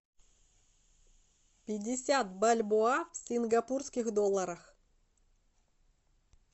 пятьдесят бальбоа в сингапурских долларах